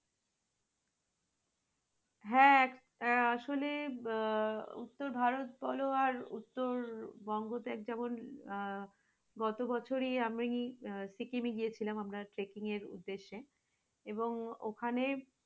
হ্যাঁ আসলে আহ তো ভারত বল আর উত্তরবঙ্গ তে আহ যেমন গত বছরই আমরা সিকিমে গিয়েছিলাম আমরা চেকিং এর উদ্দেশ্যে এবং ওখানে,